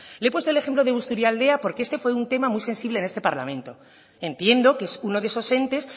le he puesto el ejemplo de busturialdea porque este fue un tema muy sensible en este parlamento entiendo que es uno de esos entes